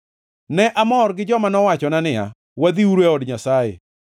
Ne amor gi joma nowachona niya, “Wadhiuru e od Jehova Nyasaye.”